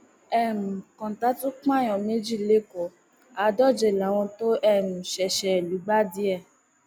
um kọńtà tún pààyàn méjì lẹkọọ àádóje láwọn tó um ṣẹṣẹ lùgbàdì ẹ